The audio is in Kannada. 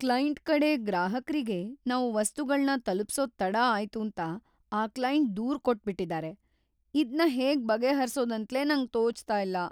ಕ್ಲೈಂಟ್‌ ಕಡೆ ಗ್ರಾಹಕ್ರಿಗೆ ನಾವು ವಸ್ತುಗಳ್ನ ತಲುಪ್ಸೋದ್‌ ತಡ ಆಯ್ತೂಂತ ಆ ಕ್ಲೈಂಟ್‌ ದೂರ್‌ ಕೊಟ್ಬಿಟಿದಾರೆ. ಇದ್ನ ಹೇಗ್ ಬಗೆಹರ್ಸೋದಂತ್ಲೇ ನಂಗ್ ತೋಚ್ತಿಲ್ಲ.